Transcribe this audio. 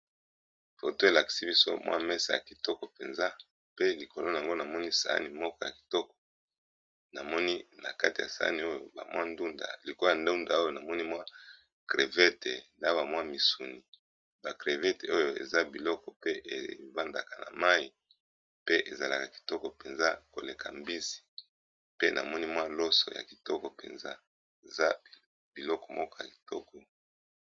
Photo elakisi biso mwa mese ya kitoko mpenza pe likolo na yango namoni sahani moka ya kitoko namoni na kati ya sahani oyo bamwa ndunda likola ndunda oyo na moni mwa crevete na bamwa misuni ba crevete oyo eza biloko pe ebandaka na mai pe ezalaka kitoko mpenza koleka mbisi pe namoni mwa loso ya kitoko mpenza eza biloko moko ya kitoko.